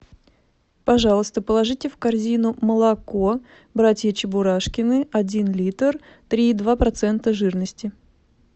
пожалуйста положите в корзину молоко братья чебурашкины один литр три и два процента жирности